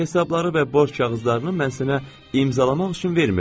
Hesabları və borc kağızlarını mən sənə imzalamaq üçün vermirdim.